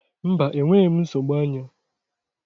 Mba, enweghị m nsogbu anya.